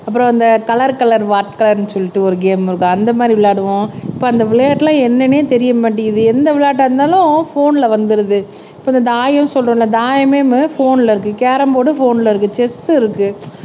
அப்புறம் இந்த colour colour what கலர்ன்னு சொல்லிட்டு ஒரு கேம் இருக்கும் அந்த மாதிரி விளையாடுவோம். இப்ப அந்த விளையாட்டெல்லாம் என்னன்னே தெரிய மாட்டேங்குது எந்த விளையாட்டா இருந்தாலும் போன்ல வந்துருது இப்ப இந்த தாயம் சொல்றோம்ல தாயமேமு போன்ல இருக்கு கேரம் போர்டு போன்ல இருக்கு செஸ் இருக்கு